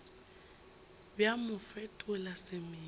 bja mo bo fetola semelo